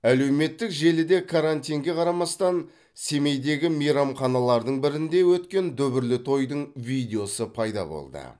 әлеуметтік желіде карантинге қарамастан семейдегі мейрамханалардың бірінде өткен дүбірлі тойдың видеосы пайда болды